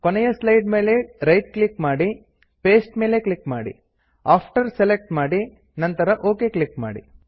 ಕೊನೆಯ ಸ್ಲೈಡ್ ಮೇಲೆ right click ಮಾಡಿ ಜಿಟಿಜಿಟಿ ಪೇಸ್ಟ್ ಮೇಲೆ ಕ್ಲಿಕ್ ಮಾಡಿ ಜಿಟಿಜಿಟಿ ಆಫ್ಟರ್ ಸೆಲೆಕ್ಟ್ ಮಾಡಿ ನಂತರ ಒಕ್ ಕ್ಲಿಕ್ ಮಾಡಿ